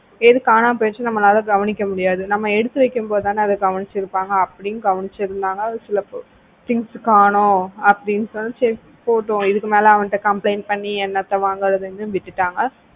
எது காணாமல் போயிடுச்சு இருந்தா நம்மளால கவனிக்க முடியாது நம்ம எடுத்து வைக்கும்போது தானே அதை கவனிச்சு இருப்பாங்க அப்படி கவனிச்சிருந்தாங்க சில things காணோம் அப்படின்னு சொல்லி சரி போகட்டும் இதுக்கு மேல அவன் கிட்ட complaint பண்ணி என்னத்த வாங்குறதுன்னு விட்டுட்டாங்க